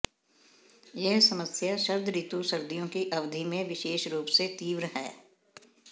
यह समस्या शरद ऋतु सर्दियों की अवधि में विशेष रूप से तीव्र है